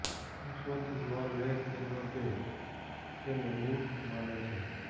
રુશ્વત ન લે કે ન દે તેને મૂર્ખ માને છે